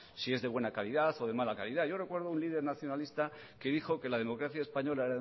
si es de buena calidad o de mala calidad yo recuerdo de un líder nacionalista que dijo que la democracia española